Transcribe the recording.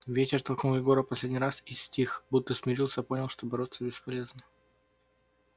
ветер толкнул егора последний раз и стих будто смирился понял что бороться бесполезно